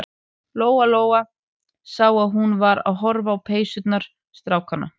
Lóa-Lóa sá að hún var að horfa á peysurnar strákanna.